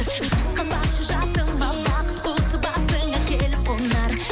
жасқанбашы жасыма бақыт құсы басыңа келіп қонар